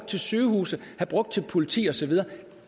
til sygehuse til politi og så videre